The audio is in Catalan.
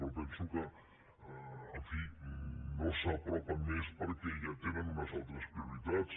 però penso que no s’hi apropen més perquè ja tenen unes altres prioritats